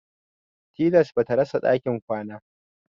Tilas ba ta rasa ɗakin kwana.